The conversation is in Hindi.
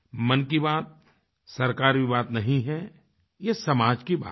मन की बात सरकारी बात नहीं है यह समाज की बात है